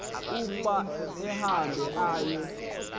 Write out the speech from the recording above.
ukuba ahambe aye